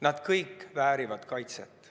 Nad kõik väärivad kaitset.